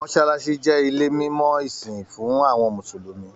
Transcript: Mọsálásí jẹ ilé mimọ ìsìn fún àwọn mùsùlùmí.